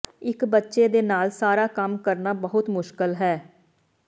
ਇੱਕ ਬੱਚੇ ਦੇ ਨਾਲ ਸਾਰਾ ਕੰਮ ਕਰਨਾ ਬਹੁਤ ਮੁਸ਼ਕਲ ਹੈ